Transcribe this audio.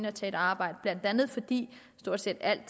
og tage et arbejde blandt andet fordi stort set alt